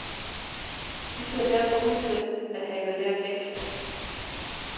De ser derfor ud til at have lært lektien.